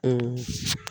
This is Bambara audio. O